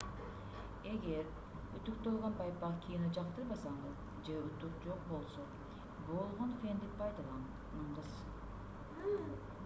эгер үтүктөлгөн байпак кийүүнү жактырбасаңыз же үтүк жок болсо болгон фенди пайдаланыңыз